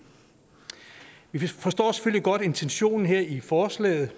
vi forstår selvfølgelig godt intentionen i forslaget